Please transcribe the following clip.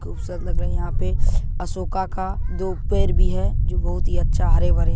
- -खूबसूरत लग रहे है यहाँ पे अशोका का दो पेड भी है जो बहुत ही अच्छा हरे-भरे--